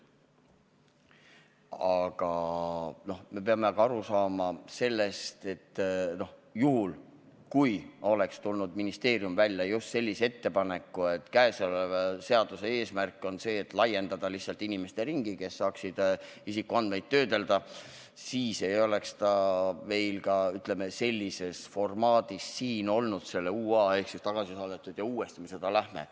Aga me peame ka aru saama sellest, et juhul, kui ministeerium oleks tulnud välja just sellise ettepanekuga, et käesoleva seaduse eesmärk on lihtsalt laiendada inimeste ringi, kes saaksid isikuandmeid töödelda, siis ei oleks ta meil olnud siin, ütleme, sellises formaadis, selle UA-na ehk tagasi saadetu ja uuesti arutlusele võetuna.